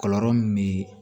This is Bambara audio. Kɔlɔlɔ min bɛ